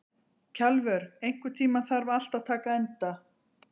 Kjalvör, einhvern tímann þarf allt að taka enda.